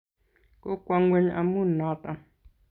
kokwo ngweng amun noton